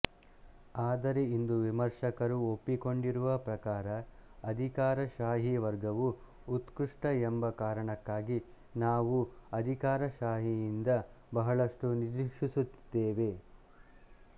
ಆದರೆ ಇಂದು ವಿಮರ್ಶಕರು ಒಪ್ಪಿಕೊಂಡಿರುವ ಪ್ರಕಾರ ಅಧಿಕಾರಶಾಹಿ ವರ್ಗವು ಉತ್ಕೃಷ್ಟ ಎಂಬ ಕಾರಣಕ್ಕಾಗಿ ನಾವೂ ಅಧಿಕಾರಶಾಹಿಯಿಂದ ಬಹಳಷ್ಟು ನಿರೀಕ್ಷಿಸುತ್ತಿದ್ದೇವೆ